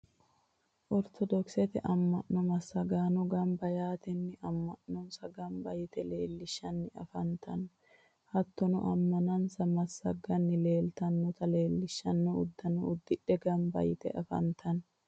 ortodoxete ama'no massagaano gamba yaatenni ama'nonsa gamba yite leellishanni affantanno. hattonni amanansa massaganni leelitanota leelishanno uddano uddidhe gamba yite afantanno.